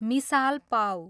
मिसाल पाउ